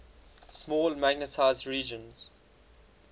small magnetized regions